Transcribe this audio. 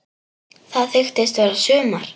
Það þykist vera sumar.